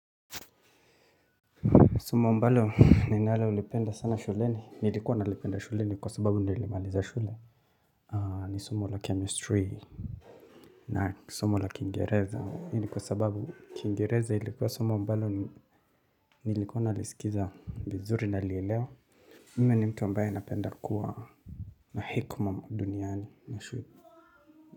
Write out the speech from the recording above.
Somo ambalo ninalolipenda sana shuleni, nilikuwa nalipenda shuleni kwa sababu nilimaliza shule, ni somo la chemistry, na somo la kiingereza, hii ni kwa sababu kiingereza ilikuwa somo ambalo nilikuwa nalisikiza vizuri nalielewa mimi ni mtu ambaye napenda kuwa na hekima ma duniani na shu.